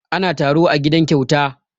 Ana taro a gidan Kyauta.